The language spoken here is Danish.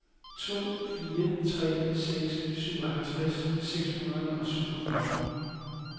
to fire tre seks syvoghalvtreds seks hundrede og syvogfyrre